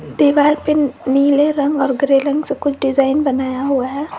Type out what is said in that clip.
दीवाल पे नीले रंग और ग्रे रंग से कुछ डिजाइन बनाया हुआ है।